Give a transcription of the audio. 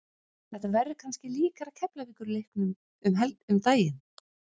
Þetta verður kannski líkara Keflavíkur leiknum um daginn.